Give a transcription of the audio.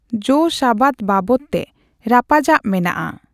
ᱡᱳ' ᱥᱟᱵᱟᱫ ᱵᱟᱵᱚᱛᱼᱛᱮ ᱨᱟᱯᱟᱪᱟᱜ ᱢᱮᱱᱟᱜᱼᱟ ᱾